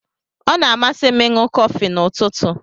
O na amasi 'm ịṅụ kofi na ụtụtụ.